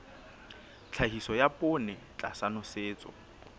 tlhahiso ya poone tlasa nosetso